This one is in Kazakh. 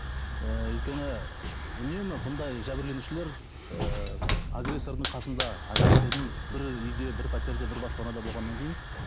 ы өйткені үнемі мұндай жәбірленушілер ыыы агрессордың қасында агрессордың бір үйде бір пәтерде бір баспанада болғаннан кейін